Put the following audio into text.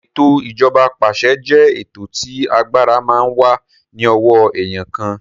Ètò ìjọba apàṣẹ jẹ́ ètò tí agbára máa ń wà ní ọwọ́ èèyàn kan